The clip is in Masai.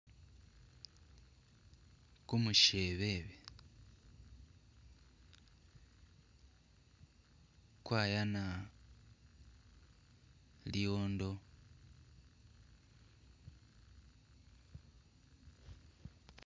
Kumushebebe kwayana liwondo